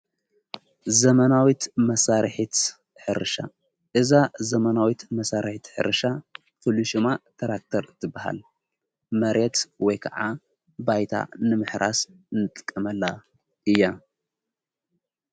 ዘመናዊት መሣርሒት ሕርሻ እዛ ዘመናዊት መሣርሒት ሕርሻ ፍልሹማ ተራክተር ትበሃል መሬት ወይ ከዓ ባይታ ንምሕራስ ንጥቀመላ እያ::